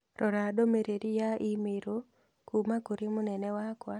Rora ndũmĩrĩri ya i-mīrū kuuma kũrĩ mũnene wakwa